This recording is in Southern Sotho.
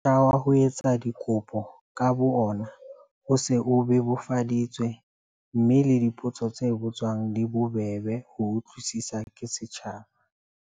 Motjha wa ho etsa kopo ka bo ona o se o bebofaditswe mme le dipotso tse botswang di bobebe ho utlwisiswa ke setjhaba.